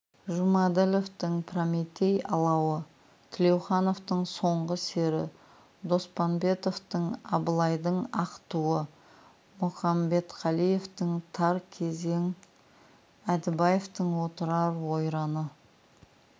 жұмаділовтің прометей алауы тілеухановтың соңғы сері доспанбетовтың абылайдың ақ туы мұқамбетқалиевтің тар кезең әдібаевтің отырар ойраны